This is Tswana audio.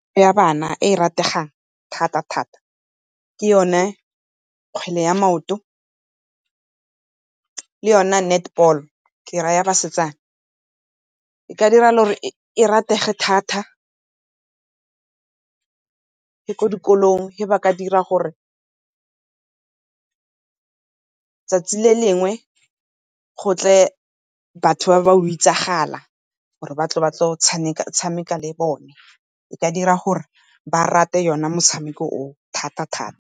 Ya bana e e rategang thata-thata ke yone kgwele ya maoto le yona netball ke ra ya basetsana. E ka diragala gore e ratege thata le kwa dikolong ga ba ka dira gore 'tsatsi le lengwe gotle batho ba ba go itsagala gore batle go tshameka-tshameka le bone, e ka dira gore ba rate o ne motshameko o thata-thata.